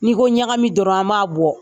N'i ko ɲagami dɔrɔn an m'a bɔ.